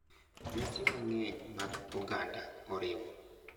Nyasi mang’eny mag oganda oriwo,